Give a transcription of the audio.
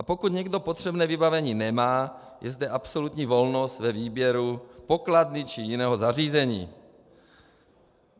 A pokud někdo potřebné vybavení nemá, je zde absolutní volnost ve výběru pokladny či jiného zařízení.